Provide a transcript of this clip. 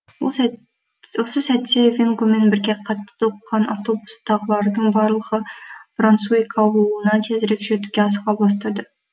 осы сәтте вингомен бірге қатты толқыған автобустағылардың барлығы брансуик ауылына тезірек жетуге асыға бастады